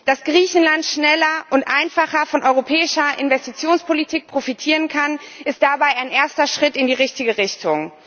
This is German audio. Dass Griechenland schneller und einfacher von einer europäischen Investitionspolitik profitieren kann, ist dabei ein erster Schritt in die richtige Richtung.